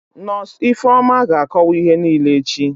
Nọsụ Ifeoma ga-akọwa ihe niile echi